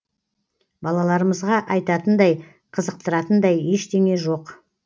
балаларымызға айтатындай қызықтыратындай ештеңе жоқ